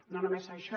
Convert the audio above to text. no només això